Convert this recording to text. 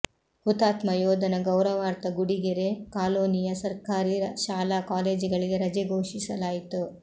ಹುತಾತ್ಮ ಯೋಧನ ಗೌರವಾರ್ಥ ಗುಡಿಗೆರೆ ಕಾಲೋನಿಯ ಸರ್ಕಾರಿ ಶಾಲಾ ಕಾಲೇಜುಗಳಿಗೆ ರಜೆ ಘೋಷಿಸಲಾಯಿತು